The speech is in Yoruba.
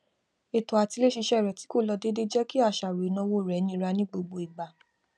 ètò àtiléṣiṣẹ rẹ tí kò lọ déédéé jẹ kí àṣàrò ìnáwó rẹ nira ní gbogbo ìgbà